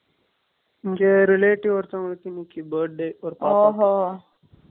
இங்க relative ஒருத்தவங்களுக்கு, இன்னைக்கு birthday . ஆஹா